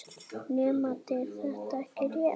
Nemandi: Er þetta ekki rétt?